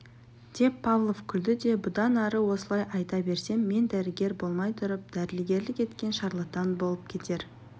деп павлов күлді де бұдан ары осылай айта берсем мен дәрігер болмай тұрып дәрігерлік еткен шарлатан болып кетер